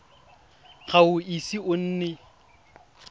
ga o ise o nne